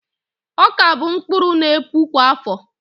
Ọka bụ mkpụrụ n'epu kwa áfọ̀